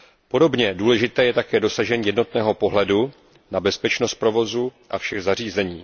Podobně důležité je také dosažení jednotného pohledu na bezpečnost provozu a všech zařízení.